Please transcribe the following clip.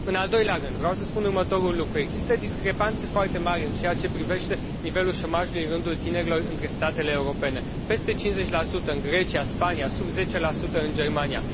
În al doilea rând, vreau să spun următorul lucru există discrepanțe foarte mari în ceea ce privește nivelul șomajului în rândul tinerilor între statele europene peste 50 în Grecia, Spania, sub 10 în Germania.